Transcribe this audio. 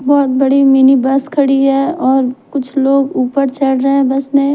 बहोत बड़ी mini bus खड़ी है और कुछ लोग ऊपर चढ़ रहे है बस में--